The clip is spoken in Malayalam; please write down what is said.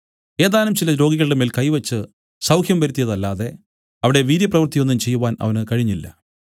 ഏതാനും ചില രോഗികളുടെമേൽ കൈ വെച്ച് സൌഖ്യം വരുത്തിയത് അല്ലാതെ അവിടെ വീര്യപ്രവൃത്തി ഒന്നും ചെയ്‌വാൻ അവന് കഴിഞ്ഞില്ല